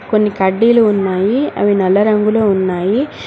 కొన్ని కడ్డీలు ఉన్నాయి అవి నల్లరంగులో ఉన్నాయి.